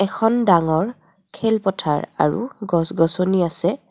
এখন ডাঙৰ খেল পথাৰ আৰু গছ গছনী আছে.